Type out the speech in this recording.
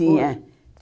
Tinha.